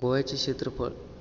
गोव्याचे क्षेत्रफळ